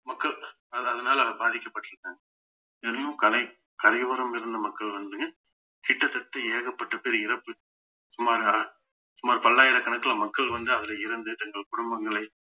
மக்கள் அது அதனால பாதிக்கப்பட்டிருக்காங்க கலை~ கரையோரம் இருந்த மக்கள் வந்து கிட்டத்தட்ட ஏகப்பட்ட பேர் இறப்பு சுமாரா சுமார் பல்லாயிரக்கணக்குல மக்கள் வந்து அதுல இறந்து தங்கள் குடும்பங்களை